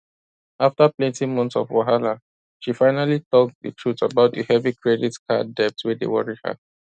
after plenty months of wahala she finally talk the truth about the heavy credit card debt wey dey worry her